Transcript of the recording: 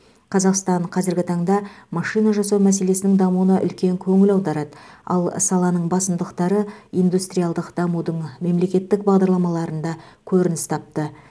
қазақстан қазіргі таңда машина жасау мәселесінің дамуына үлкен көңіл аударады ал саланың басымдықтары индустриалдық дамудың мемлекеттік бағдарламаларында көрініс тапты